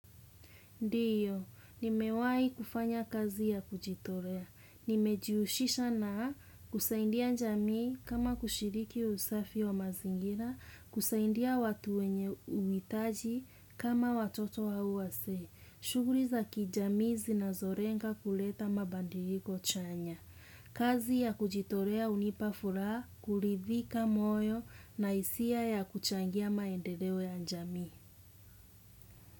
Ndiyo, nimewahi kufanya kazi ya kujitolea. Nimejihusisha na kusaidia jamii kama kushiriki usafi wa mazingira, kusaidia watu wenye huitaji kama watoto au wazee. Shughuli za kijamii zinazolenga kuleta mabandiliko chanya. Kazi ya kujitolea hunipafuraha, kuridhika moyo na hisia ya kuchangia maendeleo ya jamii.